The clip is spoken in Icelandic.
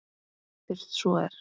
Fyrst svo er.